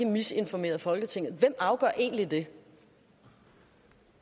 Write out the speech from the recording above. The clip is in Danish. misinformeret folketinget og det